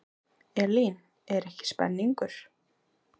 Elín, er ekki spenningur?